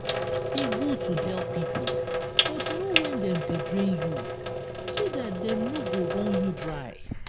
e good to help pipo but know when dem dey drain you so dat dem no go run you dry